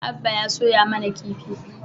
Abba ya soya mana kifi